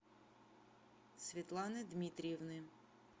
светланы дмитриевны